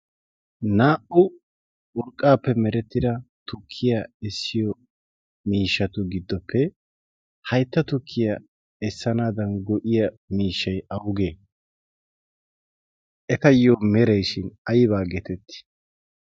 naa77u urqqaappe merettida tukkiyaa essiyo miishshatu giddoppe haitta tukkiyaa essanaadan go7iya miishshai awugee? etayyo meraishin aibaa getettii?